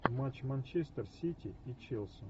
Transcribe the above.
матч манчестер сити и челси